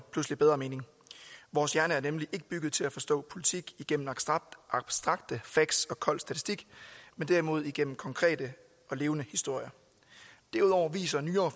bedre mening vores hjerne er nemlig ikke bygget til at forstå politik gennem abstrakte facts og kold statistik men derimod gennem konkrete og levende historier derudover viser nyere